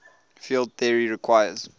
field theory requires